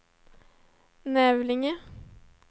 Nävlinge